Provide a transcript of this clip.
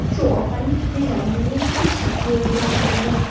Shu orqali dizaynerning tish shakli o‘zgartirilgan.